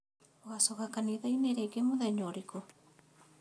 ũgacoka kanitha-inĩ rĩngĩ mũthenya ũrĩkũ?